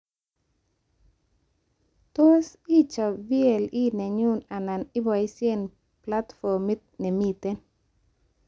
Tos, ichob VLE nenyu anan iboishe platformit nemiten